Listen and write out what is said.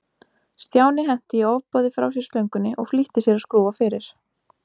Stjáni henti í ofboði frá sér slöngunni og flýtti sér að skrúfa fyrir.